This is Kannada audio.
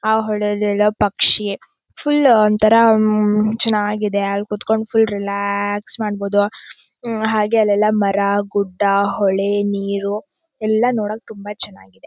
''ಆ ಹೊಳೆ ಅಲ್ಲಿರೋ ಪಕ್ಷಿ ಫುಲ್ ಒಂಥರಾ ಚೆನ್ನಾಗಿದೆ ಅಲ್ಲಿ ಕುತ್ಕೊಂಡ್ ಫುಲ್ ರಿಲ್ಯಾಕ್ಸ್ ಮಾಡಬಹುದು ಹಾಗೆ ಅಲ್ಲೆಲ್ಲ ಮರ ಗುಡ್ಡ ಹೊಳೆ ನೀರು ಎಲ್ಲ''''ನೋಡೋಕೆ ತುಂಬಾ ಚೆನ್ನಾಗಿದೆ.''